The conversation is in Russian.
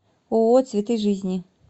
ооо цветы жизни